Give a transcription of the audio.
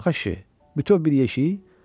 Yox əşi, bütöv bir yeşik?